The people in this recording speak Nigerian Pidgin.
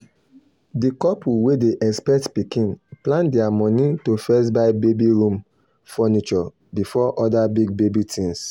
di couple wey dey expect pikin plan their money to first buy baby room furniture before other big baby things.